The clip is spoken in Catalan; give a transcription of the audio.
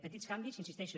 petits canvis hi insisteixo